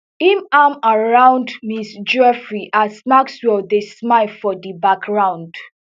im arm around ms giuffre as maxwell dey smile for di background